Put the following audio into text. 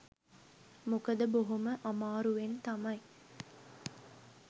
මොකද බොහොම අමාරුවෙන් තමයි